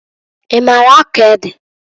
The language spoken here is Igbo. I maalụ akọ ede?